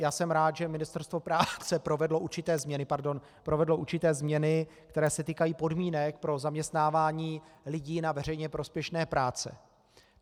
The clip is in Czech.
Já jsem rád, že Ministerstvo práce provedlo určité změny, které se týkají podmínek pro zaměstnávání lidí na veřejně prospěšné práce.